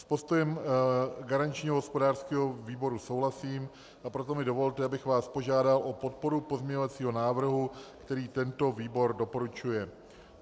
S postojem garančního hospodářského výboru souhlasím, a proto mi dovolte, abych vás požádal o podporu pozměňovacího návrhu, který tento výbor doporučuje.